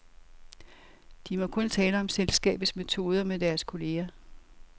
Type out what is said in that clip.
De må kun tale om selskabets metoder med deres kolleger.